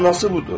Mənası budur.